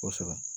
Kosɛbɛ